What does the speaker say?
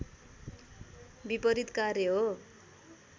विपरित कार्य हो